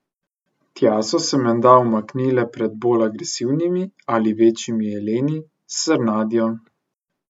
Tja so se menda umaknile pred bolj agresivnimi ali večjimi jeleni, srnjadjo...